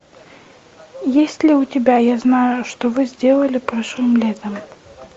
есть ли у тебя я знаю что вы сделали прошлым летом